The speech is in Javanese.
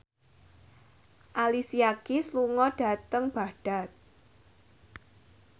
Alicia Keys lunga dhateng Baghdad